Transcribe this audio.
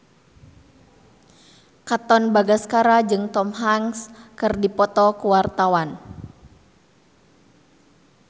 Katon Bagaskara jeung Tom Hanks keur dipoto ku wartawan